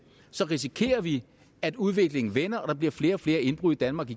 risikerer vi at udviklingen vender og der bliver flere og flere indbrud i danmark